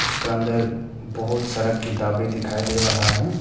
उसका अंदर बहुत सारा किताबें दिखाई दे रहा है।